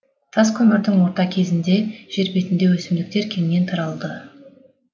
тас көмірдің орта кезінде жер бетінде өсімдіктер кеңінен таралды